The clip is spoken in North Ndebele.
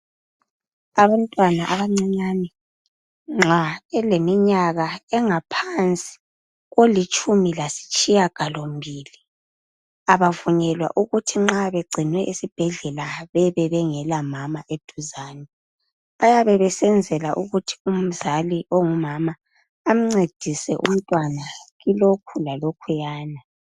Abantwana abancinyane nxa eleminyaka engaphansi kwelitshumi lasitshiya galombili abavunyelwa ukuthi nxa begcinwe esibhedlela bebe bengela mama eduzane bayabe besenzela ukuthi umzali ongumama amncedise umntwana kulokhu lalokhuyana.